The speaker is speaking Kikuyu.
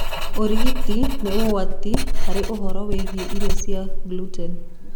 Ũrigiti nĩ hatarĩ ũhoro wĩgie irio ciena gluten.